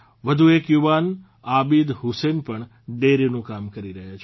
વધુ એક યુવાન આબીદ હુસેન પણ ડેરીનું કામ કરી રહ્યા છે